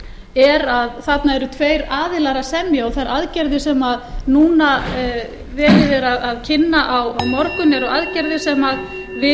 er að hérna eru tveir aðilar að semja og þær aðgerðir sem núna er verið kynna á morgun eru aðgerðir sem við